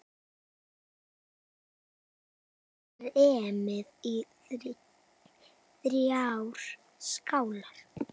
Setjið kremið í þrjár skálar.